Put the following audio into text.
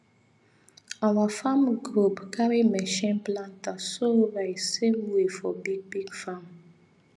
our farmer group carry machine planter sow rice same way for big big farm